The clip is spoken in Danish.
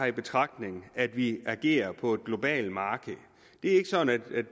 i betragtning at vi agerer på et globalt marked